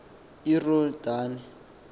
iyorhedane